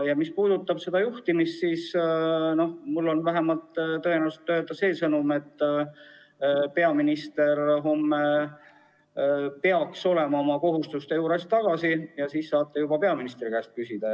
Ja mis puudutab juhtimist, siis on mul vähemalt see sõnum, et tõenäoliselt homme peaks peaminister olema oma töökohustuste juures tagasi ja siis saate juba tema käest küsida.